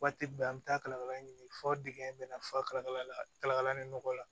Waati bɛɛ an bi taa kalakala ɲini fɔ dingɛ bɛna fa kala la kalakala ni nɔgɔ la